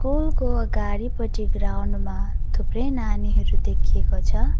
कुलको अगाडिपटि ग्राउन्ड मा थुप्रै नानीहरू देखिएको छ।